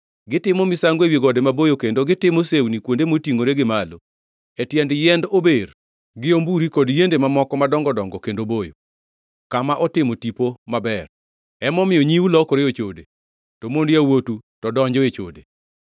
Gitimo misango ewi gode maboyo kendo gitimo Sewni kuonde motingʼore gi malo, e tiend yiend ober, gi omburi kod yiende mamoko madongo dongo kendo boyo, kama otimo tipo maber. Emomiyo nyiu lokore ochode to mond yawuotu to donjo e chode.